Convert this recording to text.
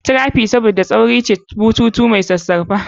Trachea's Saboda tauri ce, bututu mai sassauƙa.